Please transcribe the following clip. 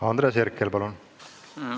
Andres Herkel, palun!